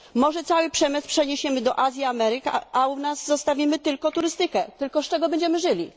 Może cały przemysł przeniesiemy do Azji, Ameryk, a u nas zostawimy tylko turystykę. Tylko z czego będziemy żyli.